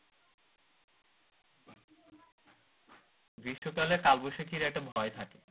গ্রীস্মকাল এ কালবৈশাখীর একটা ঝড় থাকে